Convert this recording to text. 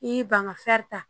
I banganfɛ ta